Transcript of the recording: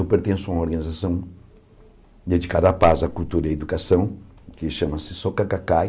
Eu pertenço a uma organização dedicada à paz, à cultura e à educação, que chama-se Soka Kakai.